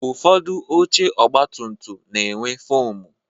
Ụfọdụ oche ọgba tum tum na-enwe foomu